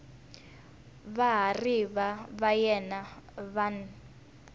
vahariva va yena va n